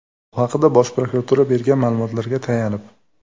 Bu haqda Bosh prokuratura bergan ma’lumotga tayanib.